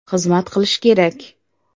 Xizmat qilish kerak.